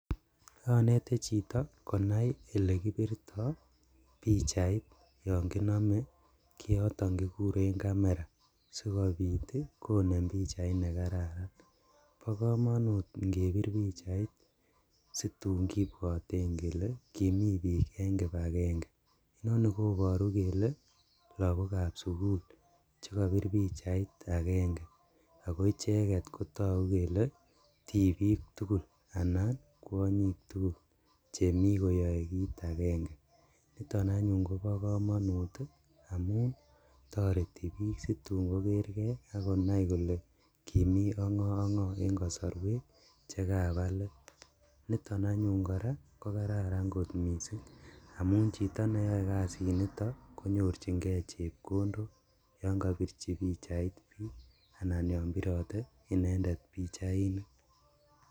Onete chito konai elekibirto pichait yon kinome kioton kikuren camera sikobit konem pichait nekararan bokomonut ingebir pichait situn kibwoten kele kimi bik en kipagenge inoni koboru kele lagokab sugul chekobor pichait agenge, ako icheket kotogu kele tibik tugul anan kwonyik tugul chemi koyoe kit agenge niton anyun kobo komonut amun toreti bik situn koker kee akonai kole kimi ongo ongo en kosoruek chekaba let, niton anyuun ko kararan kot missing' amun chito neyoe kasiniton konyorjigee chepkondok yon kobirchi pichait bik anan yon birote inendet pichainik.